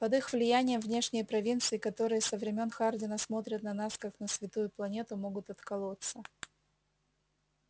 под их влиянием внешние провинции которые со времён хардина смотрят на нас как на святую планету могут отколоться